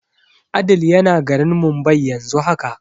Adeel yana garin Mumbai yanzu haka.